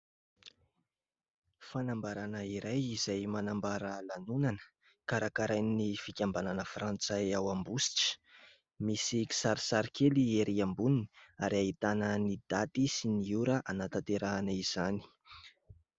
Fanambarana iray, izay manambara lanonana karakarain'ny fikambanana Frantsay ao Ambositra. Misy kisarisary kely ery amboniny ary ahitana ny daty sy ny ora hanatanterahana izany.